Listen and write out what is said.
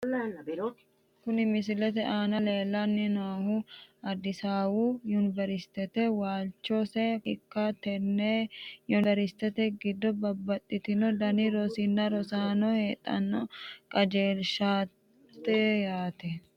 Kuni misilete aana leellanni noohu addisawu yuniwerisitete waalchose ikkanna , tenne yuniwerisite giddo babbaxitino dani rosinni rosaano haadhe qajeelshitanno yaate.